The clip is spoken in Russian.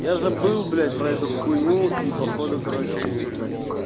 я забыл блять про эту хуйню и походу короче